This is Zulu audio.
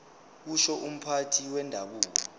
kusho umphathi wendabuko